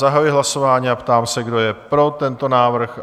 Zahajuji hlasování a ptám se, kdo je pro tento návrh?